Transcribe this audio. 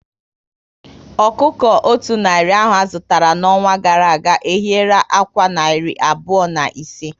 Ọkụkọ o otú narị ahụ zụtara n'ọnwa gara aga, ehiera ákwá narị abụọ na ise